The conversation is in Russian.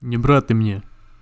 не брат ты мне